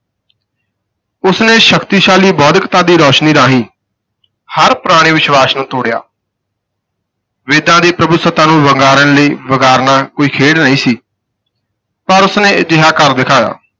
ਉਸ ਨੇ ਸ਼ਕਤੀਸ਼ਾਲੀ ਬੌਧਿਕਤਾ ਦੀ ਰੋਸ਼ਨੀ ਰਾਹੀਂ ਹਰ ਪੁਰਾਣੇ ਵਿਸ਼ਵਾਸ ਨੂੰ ਤੋੜਿਆ ਵੇਦਾਂ ਦੀ ਪ੍ਰਭੂਸੱਤਾ ਨੂੰ ਵੰਗਾਰਨ ਲਈ ਵੰਗਾਰਨਾ ਕੋਈ ਖੇਡ ਨਹੀਂ ਸੀ ਪਰ ਉਸ ਨੇ ਅਜਿਹਾ ਕਰ ਦਿਖਾਇਆ।